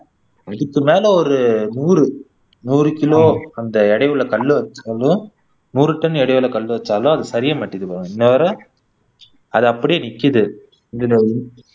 நூறு கிலோ அந்த எடையுள்ள கல்லு ஒரு டன் எடையுள்ள கல்லு வச்சாலும் அது சரிய மாட்டேங்குதுபாரு இன்னவரை அது அப்படியே நிக்குது அது